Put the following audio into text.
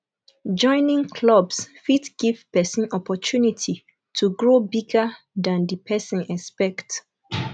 joining clubs fit give person opportunity to grow bigger than di person expect